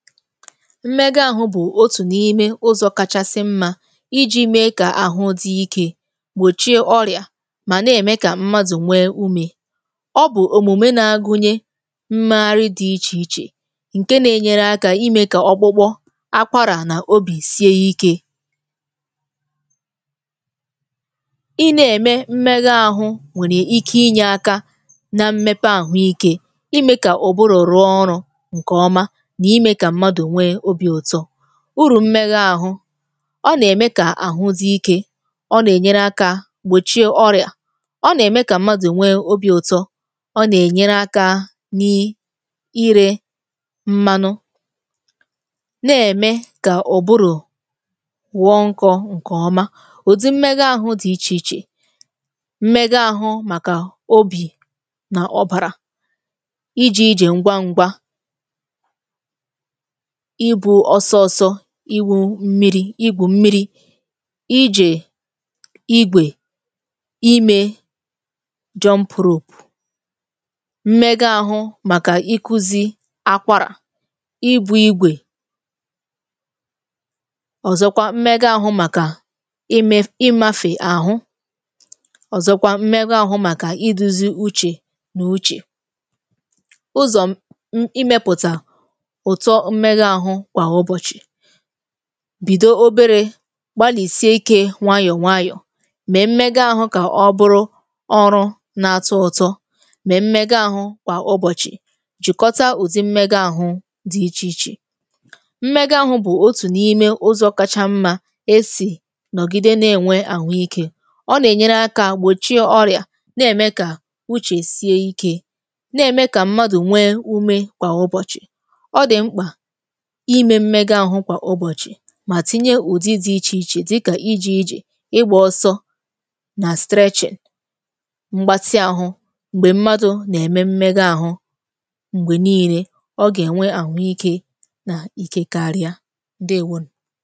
Mmega àhụ̇ bụ̀ otù n’ime ụzọ̇ kachasị mmȧ iji̇ mee kà àhụ dị ikė, gbòchie ọrị̀à mà na-ème kà mmadụ̀ nwee umė, ọ bụ̀ òmùme na-agụnye mmeghàri dị̇ ichè-ichè ǹke na-enyere akȧ imė kà okpukpo, akwàrà n’obì sie ikė ị na-ème mmega àhụ̇ nwèrè ike inye aka na mmepe àhụ ike, imė kà òbùrù rụọ ọrụ̇ nke ọma na ime kà mmadụ nwe obi ụtọ, uru mmega àhụ, ọ nà-ème kà àhụ dị ikė, ọ nà-ènyere akȧ gbòchie ọrị̀à, ọ nà-ème kà mmadụ̀ nwe obi̇ ụtọ, ọ nà-ènyere akȧ n’ì irė mmanụ na-ème kà ụ̀bụrụ̀ wọ nkọ̇ ǹkèọma, ùdi mmega àhụ dị ichè-ichè, mmega àhụ màkà obì nà ọbàrà, ịje-ìje ngwá ngwá ibu ọsọ ọsọ, iwù̇ mmiri̇, igwu mmiri̇, ịjè igwè, imė jump rope, mmega àhụ màkà ikù̇zi akwàrà, ibù̇ igwè ọ̀zọkwa mmega àhụ màkà ime imafe àhụ, ọ̀zọkwa mmega àhụ màkà idu̇zi uche nà uche, ụzọ imeputa ụtọ mmega ahụ kwa ụbọchị, bido obere gbalì sie ikė nwayọ̀-nwayọ̀, mee mmega ahụ̇ kà ọ bụrụ ọrụ̇ na-atọ̇ ụ̀tọ, mme mmega ahụ̇ kwa ụbọ̀chị̀, jìkọtà uzi mmega ahụ̇ dị ichè-ichè, mmega ahụ̇ bụ̀ otù n’ime ụzọ̇ kacha mmȧ esì nọ̀gide na-ènwe àhụ ikė, ọ nà-ènyere akȧ gbòchi ọrị̀à, na-ème kà uche sie ikė, na-ème kà mmadụ̀ nwee umė kwa ụbọ̀chị̀. Ọ dị mkpa ime mmega ahụ kwa ụbọchị mà tinye ùdi dị̇ ichè-ichè dịkà ịje-ìjè, ịgbȧ ọsọ nà m̀gbatị àhụ̇. M̀gbè mmadụ̀ nà-ème mmega àhụ̇, m̀gbè niile ọ gà-ènwe àhụ ike nà ikė karịa. Ǹdewoonu.